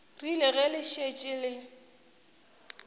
rile ge le šetše le